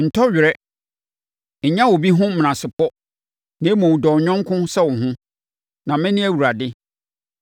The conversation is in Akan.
“ ‘Ntɔ were. Nnya obi ho menasepɔ; na mmom, dɔ wo yɔnko sɛ wo ho, na mene Awurade.